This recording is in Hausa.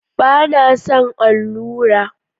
Ba na son allura